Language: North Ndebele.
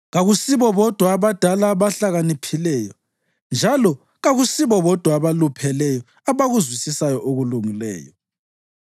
Kakusibo bodwa abadala abahlakaniphileyo, njalo kakusibo bodwa abalupheleyo abakuzwisisayo okulungileyo.